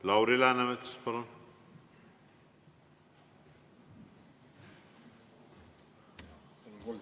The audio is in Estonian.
Lauri Läänemets, palun!